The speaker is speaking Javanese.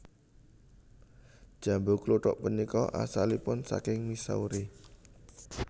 Jambu kluthuk punika asalipun saking Missouri